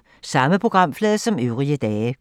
Samme programflade som øvrige dage